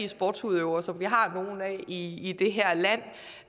sportsudøvere som vi har nogle af i det her land